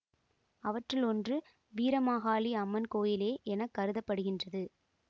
அவற்றுள் ஒன்று வீரமாகாளி அம்மன் கோயிலே என கருத படுகின்றது